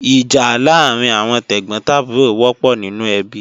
Ìjà láàrín àwọn tẹ̀gbọ́n tàbúrò wọ́pọ̀ nínú ẹbí